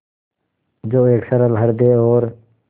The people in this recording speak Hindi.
जो एक सरल हृदय और